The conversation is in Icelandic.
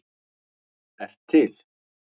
ert til!